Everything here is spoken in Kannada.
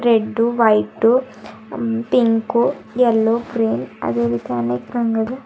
red white pink yellow cream ಅದೇಗೆ ತಾನೇ ಕಂಡರೆ--